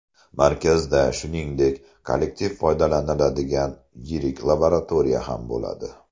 Markazda, shuningdek, kollektiv foydalaniladigan yirik laboratoriya ham bo‘ladi.